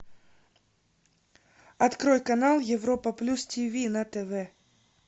открой канал европа плюс тиви на тв